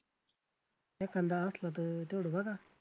एखांदा असला तर तेवढं बघा.